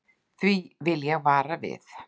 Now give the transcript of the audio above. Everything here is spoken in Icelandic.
Því vil ég vara við.